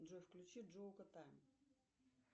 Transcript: джой включи